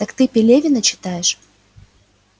так ты пелевина читаешь